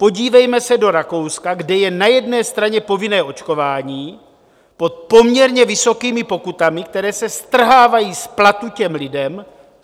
Podívejme se do Rakouska, kde je na jedné straně povinné očkování pod poměrně vysokými pokutami, které se strhávají z platu těm lidem.